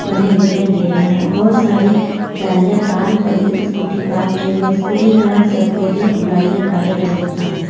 बने दिखाई दे रहे हैं बहुत सारे गाड़ियां पार्क और स्कूटी पार्क की हुए स्कूटी का रंग सफेद है और गाड़ियां काले कलर की है।